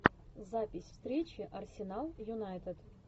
запись встречи арсенал юнайтед